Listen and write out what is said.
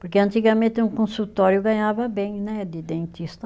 Porque antigamente um consultório ganhava bem né, de dentista.